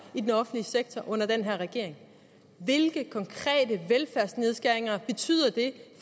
i den offentlige sektor under den her regering hvilke konkrete velfærdsnedskæringer betyder det